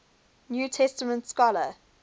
new testament scholar